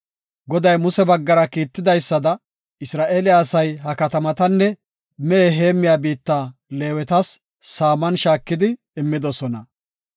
Goday Muse baggara kiitidaysada, Isra7eele asay ha katamatanne mehe heemmiya biitta Leewetas saaman shaakidi immidosona.